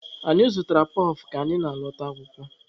Anyị zụtaara kpọf ka anyị na-alọta akwụkwọ.